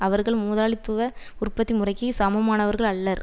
அவர்கள் முதலாளித்துவ உற்பத்தி முறைக்கு சமமானவர்கள் அல்லர்